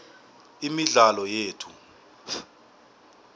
imidlalo yethu